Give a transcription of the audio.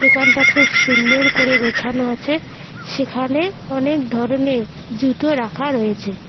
দোকানটা খুব সুন্দর করে গোছানো আছে সেখানে অনেক ধরনের জুতো রাখা রয়েছে।